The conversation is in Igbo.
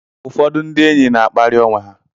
Ụfọdụ ndị enyi na-akparị onwe ha.